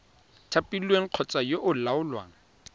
thapilweng kgotsa yo o laolang